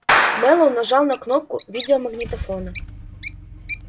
мэллоу нажал на кнопку видеомагнитофона